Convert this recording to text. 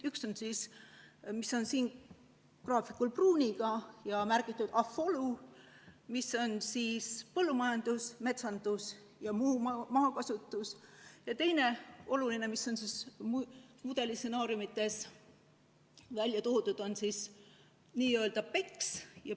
Üks on siin graafikul märgitud pruuniga ja märgisega AFOLU, mis on siis põllumajandus, metsandus ja muu maakasutus, ja teine oluline, mis on mudeli stsenaariumides välja toodud, on nn BECCS.